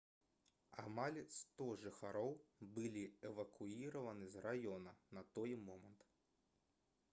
амаль 100 жыхароў былі эвакуіраваны з раёна на той момант